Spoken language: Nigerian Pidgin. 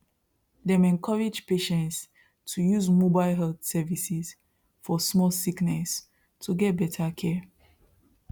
dem encourage patients to use mobile health services for small sickness to get better care